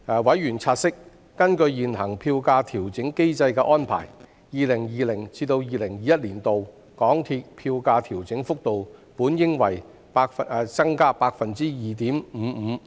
委員察悉，根據現行票價調整機制的安排 ，2020-2021 年度港鐵票價調整幅度本應為 +2.55%。